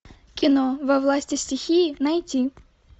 кино во власти стихии найти